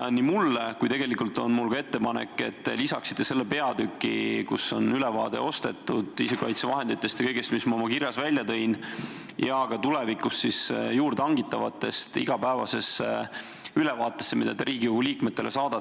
aga tegelikult on mul ka ettepanek, et lisaksite selle peatüki, kus on ülevaade ostetud isikukaitsevahenditest ja kõigest, mis ma oma kirjas ära tõin, ning ka info tulevikus juurde hangitavatest sellisesse igapäevasesse ülevaatesse, mida te Riigikogu liikmetele saadate.